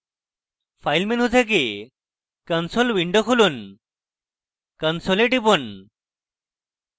file menu থেকে console window খুলুন console এ টিপুন